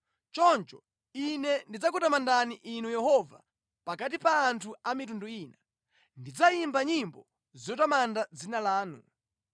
Choncho ine ndidzakutamandani Inu Yehova, pakati pa anthu a mitundu ina; ndidzayimba nyimbo zotamanda dzina lanu.